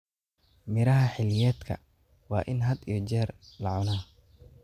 Miraha xilliyeedka waa in had iyo jeer la cunaa.